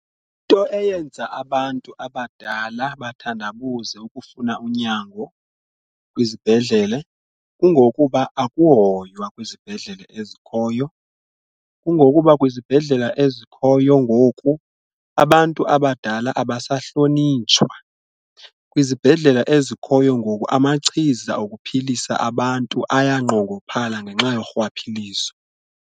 Into eyenza abantu abadala bathandabuze ukufuna unyango kwizibhedlele kungokuba akuhoywa kwizibhedlele ezikhoyo, kungokuba kwizibhedlele ezikhoyo ngoku abantu abadala abasahlonitshwa. Kwizibhedlela ezikhoyo ngoku amachiza okuphilisa abantu ayanqongophala ngenxa yorhwaphilizo.